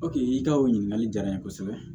i ka o ɲininkali jara n ye kosɛbɛ